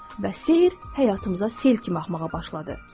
Və sehr həyatımıza sel kimi axmağa başladı.